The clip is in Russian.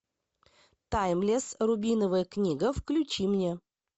таймлесс рубиновая книга включи мне